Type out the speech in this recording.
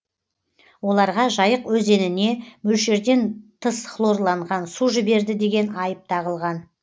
оларға жайық өзеніне мөлшерден тыс хлорланған су жіберді деген айып тағылған